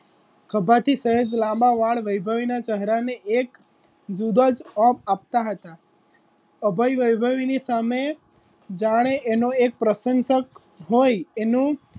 ખભાથી સહેજ લાંબા વાળ વૈભવી ના ચહેરા ને એક બુબજ ઓફ આપતા હતા અભય વૈભવીની સામે જાણે એનો એક પ્રસંસક હોય એનુ